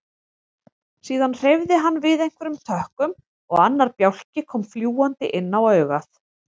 Síðan hreyfði hann við einhverjum tökkum og annar bjálki kom fljúgandi inn á augað.